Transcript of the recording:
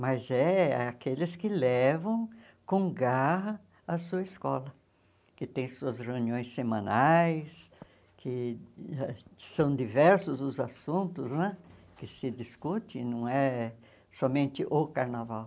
mas é aqueles que levam com garra a sua escola, que tem suas reuniões semanais, que ãh que são diversos os assuntos né que se discutem, não é somente o carnaval.